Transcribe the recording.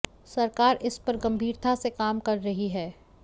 सरकार इस पर गंभीरता से काम भी कर रही है